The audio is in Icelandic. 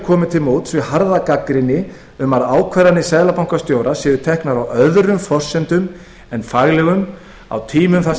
komið til móts við harða gagnrýni um að ákvarðanir seðlabankastjóra séu teknir á öðrum forsendum en faglegum á tímum þar